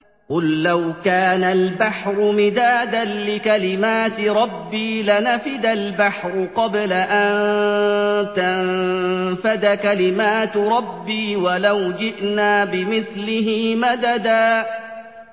قُل لَّوْ كَانَ الْبَحْرُ مِدَادًا لِّكَلِمَاتِ رَبِّي لَنَفِدَ الْبَحْرُ قَبْلَ أَن تَنفَدَ كَلِمَاتُ رَبِّي وَلَوْ جِئْنَا بِمِثْلِهِ مَدَدًا